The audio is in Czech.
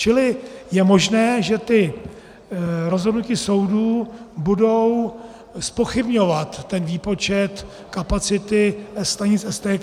Čili je možné, že ta rozhodnutí soudů budou zpochybňovat ten výpočet kapacity stanic STK.